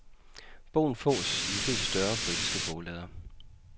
Bogen fås i de fleste større britiske boglader.